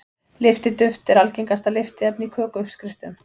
Lyftiduft er algengasta lyftiefni í kökuuppskriftum.